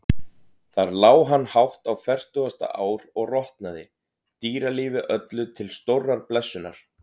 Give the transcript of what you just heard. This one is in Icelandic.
Þar lá hann hátt á fertugasta ár og rotnaði, dýralífi öllu til stórrar blessunar.